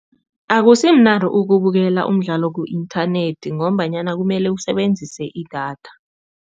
Akusimnandi ukubukela umdlalo ku-inthanethi ngombanyana kumele usebenzise idatha.